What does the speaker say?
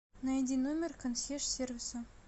найди номер консьерж сервиса